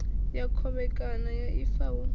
ya khovhekano ya ifa hu